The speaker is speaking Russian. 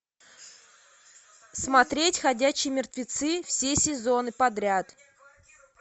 смотреть ходячие мертвецы все сезоны подряд